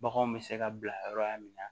Baganw bɛ se ka bila yɔrɔ min na